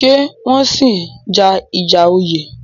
Ṣé wọ́n sì í ja ìjà oyè?